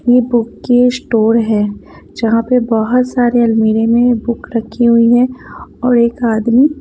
ये बुक के स्टोर है जहाँ पे बहुत सारे अलमीरे में बुक रखी हुई है और एक आदमी --